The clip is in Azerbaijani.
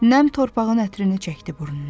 Nəm torpağın ətrini çəkdi burnuna.